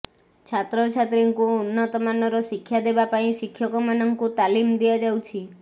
ଛାତ୍ରଛାତ୍ରୀଙ୍କୁ ଉନ୍ନତମାନର ଶିକ୍ଷା ଦେବା ପାଇଁ ଶିକ୍ଷକମାନଙ୍କୁ ତାଲିମ ଦିଆଯାଉଛି